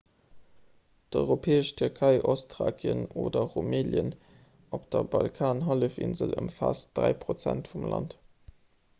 d'europäesch tierkei ostthrakien oder rumelien op der balkanhallefinsel ëmfaasst 3 % vum land